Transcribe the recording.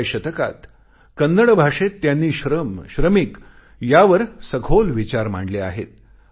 12व्या शतकात कन्नड भाषेत त्यांनी श्रम श्रमिक यावर सखोल विचार मांडले आहेत